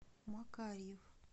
макарьев